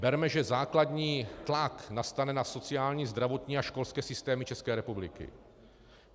Berme, že základní tlak nastane na sociální, zdravotní a školské systémy České republiky.